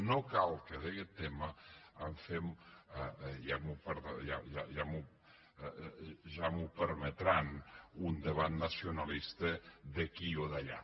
no cal que d’aquest tema en fem ja m’ho permetran un debat nacionalista d’aquí o d’allà